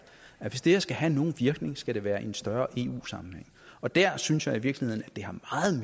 at hvis det her skal have nogen virkning skal det være i en større eu sammenhæng og der synes jeg i virkeligheden